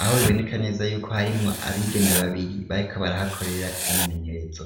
aho biboneka neza yuko harimwo abigeme babiri bariko barahakorera imyimenyerezo.